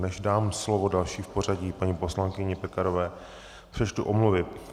Než dám slovo další v pořadí, paní poslankyni Pekarové, přečtu omluvy.